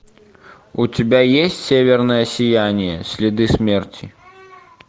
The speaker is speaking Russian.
у тебя есть северное сияние следы смерти